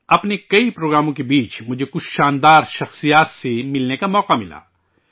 اپنے کئی پروگراموں کے درمیان مجھے کچھ شاندار شخصیات سے ملنے کا موقع ملا